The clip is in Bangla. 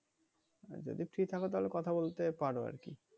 আর যদি ফ্রি থাকো তাহলে কথা বলতে পারো আর কি।